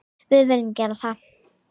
Við viljum gera það.